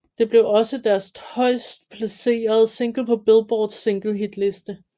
Det blev også deres højest placerede single på Billboards singlehitliste